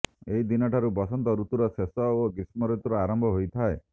ଏହି ଦିନ ଠାରୁ ବସନ୍ତ ଋତୁୁର ଶେଷ ଓ ଗ୍ରୀଷ୍ମର ଆରମ୍ବ ହୋଇଥାଏ